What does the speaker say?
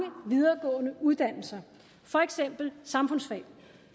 videregående uddannelser for eksempel samfundsfag